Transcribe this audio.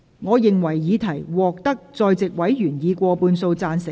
我認為議題獲得在席委員以過半數贊成。